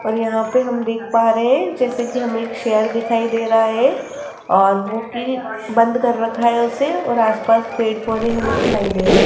और यहां पर हम देख पा रहे हैं जैसे कि हमें एक शेर दिखाई दे रहा है और ओ की बंद कर रखा है उसे और आसपास पेड़ पौधे हमें दिखाई दे रहे --